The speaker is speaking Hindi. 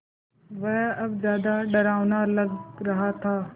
वह अब ज़्यादा डरावना लग रहा था